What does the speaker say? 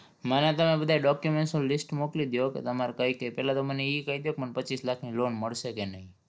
મને તમે બધાય document નું list મોકલી દયો કે તમારે કઈ કઈ પેલા તો મને ઈ કઈ દયો કે મને પચ્ચીસ લાખની loan મળશે કે નહિ?